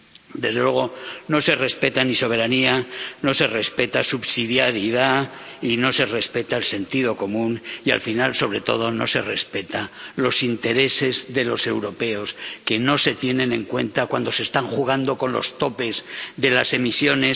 Desde luego, no se respeta ni la soberanía, no se respeta la subsidiariedad y no se respeta el sentido común, y, al final, sobre todo, no se respetan los intereses de los europeos, que no se tienen en cuenta cuando se está jugando con los topes de las emisiones